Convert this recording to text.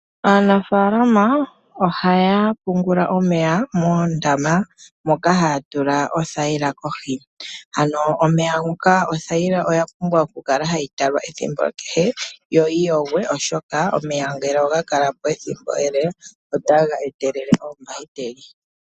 Aanafaalama ohaya pungula omeya mondama moka ha ya tula othayila kohi. Ano omeya ngoka othayila oya pumbwa oku kala ha yi talwa ethimbo kehe yo yi yogwe, oshoka omeya ngele oga kala po ethimbo ele ota ga etelele oombahiteli.